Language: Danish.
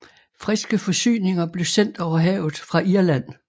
Friske forsyninger blev sendt over havet fra Irland